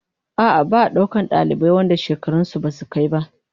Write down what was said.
A'a, ba'a daukar dalibai wanda shekarun su basu kai ba